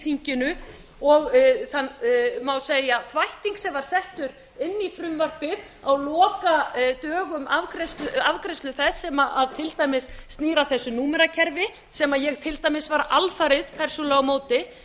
þinginu og þann má segja þvætting sama á settur inn í frumvarpið á lokadögum afgreiðslu þess sem til dæmis snýr að þessu númerakerfi sem ég til dæmis var alfarið persónulega á móti